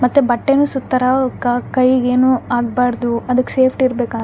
ಮತ್ತೆ ಬಟ್ಟೆನು ಸುತ್ತರ ಅವ್ಕ್ ಕೈಗೆ ಏನು ಆಗ್ಬಾರ್ದು ಅದ್ಕ ಸೇಫ್ಟಿ ಇರ್ಬೆಕ್ --